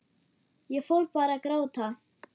Ég fór bara að gráta.